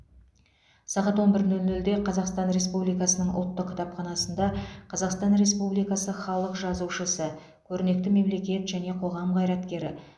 сағат он бір нөл нөлде қазақстан республикасының ұлттық кітапханасында қазақстан республикасы халық жазушысы көрнекті мемлекет және қоғам қайраткері